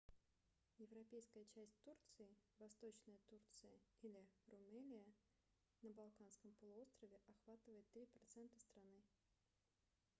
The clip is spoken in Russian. европейская часть турции восточная турция или румелия на балканском полуострове охватывает 3% страны